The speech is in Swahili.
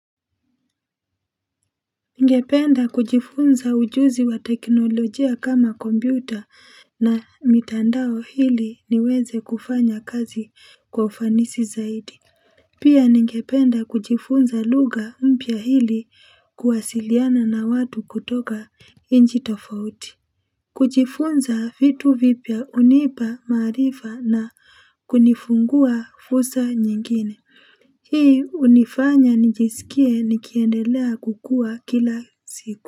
Ningependa kujifunza ujuzi wa teknolojia kama kombyuta na mitandao ili niweze kufanya kazi kwa ufanisi zaidi Pia ningependa kujifunza lugha mpya ili kuwasiliana na watu kutoka inji tofauti kujifunza vitu vipya hunipa maarifa na kunifungua fursa nyingine Hii unifanya nijisikie nikiendelea kukua kila siku.